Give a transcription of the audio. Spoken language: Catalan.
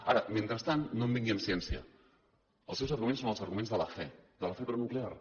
ara mentrestant no em vingui amb ciència els seus arguments són els arguments de la fe de la fe pronuclear